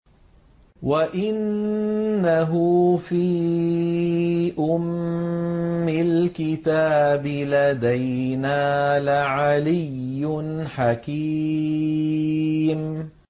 وَإِنَّهُ فِي أُمِّ الْكِتَابِ لَدَيْنَا لَعَلِيٌّ حَكِيمٌ